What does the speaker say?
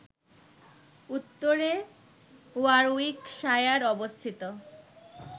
উত্তরে ওয়ারউইকশায়ার অবস্থিত